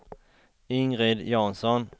Ingrid Jansson